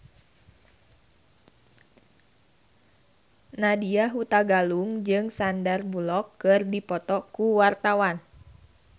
Nadya Hutagalung jeung Sandar Bullock keur dipoto ku wartawan